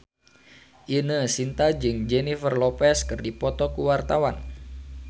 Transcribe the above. Ine Shintya jeung Jennifer Lopez keur dipoto ku wartawan